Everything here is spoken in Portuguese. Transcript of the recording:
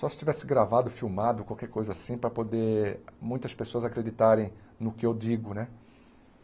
Só se tivesse gravado, filmado, qualquer coisa assim, para poder muitas pessoas acreditarem no que eu digo né.